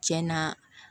Tiɲɛna